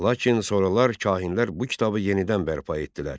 Lakin sonralar kahinlər bu kitabı yenidən bərpa etdilər.